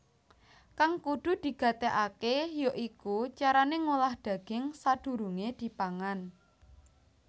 Kang kudu digatékaké ya iku carané ngolah daging sadurungé dipangan